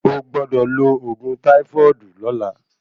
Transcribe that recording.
Ogbọ́dọ̀ lo ògùn táífọ́ọ̀dù lọla.